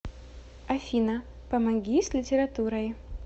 афина помоги с литературой